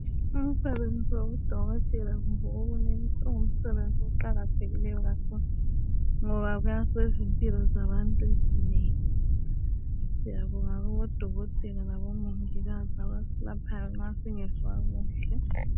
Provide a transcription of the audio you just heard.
Umsebenzi wabudokotela kumbe owobunesi ungumsebenzi oqakathekileyo kakhulu ngoba kuyasiza impilo zabantu ezinengi siyabonga kubodokotela labomongikazi abaselaphayo uma singezwa kuhle.